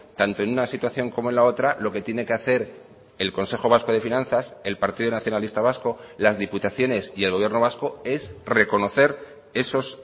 tanto en una situación como en la otra lo que tiene que hacer el consejo vasco de finanzas el partido nacionalista vasco las diputaciones y el gobierno vasco es reconocer esos